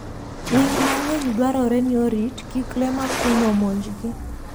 Winy mang'eny dwarore ni orit kik le makwiny omonjgi.